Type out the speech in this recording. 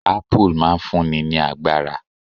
Apple' máa n fún ni ní agbára